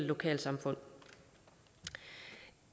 lokalsamfundene